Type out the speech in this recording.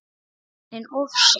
En of seint.